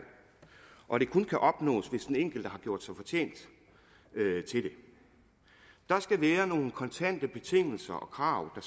og at det kun kan opnås hvis den enkelte har gjort sig fortjent til det der skal være nogle kontante betingelser og krav